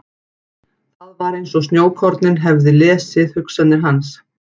Það var eins og snjókornin hefði lesið hugsanir hans.